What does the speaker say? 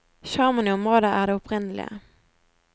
Sjarmen i området er det opprinnelige.